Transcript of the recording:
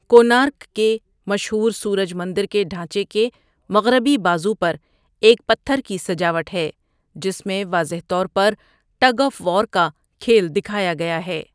کونارک کے مشہور سورج مندر کے ڈھانچے کے مغربی بازو پر ایک پتھر کی سجاوٹ ہے جس میں واضح طور پر ٹگ آف وار کا کھیل دکھایا گیا ہے۔